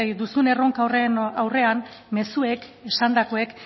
duzun erronka horren aurrean mezuek esandakoek